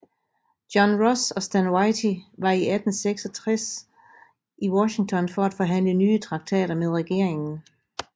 John Ross og Stand Watie var i 1866 i Washington for at forhandle nye traktater med regeringen